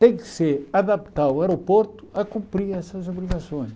Tem que se adaptar ao aeroporto para cumprir essas obrigações.